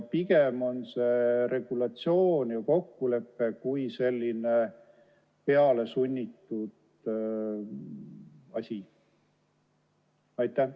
Pigem on tegu regulatsiooni ja kokkuleppega kui sellise pealesunnitud asjaga.